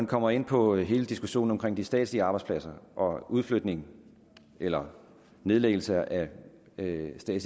kommer ind på hele diskussionen om de statslige arbejdspladser og udflytning eller nedlæggelse af statslige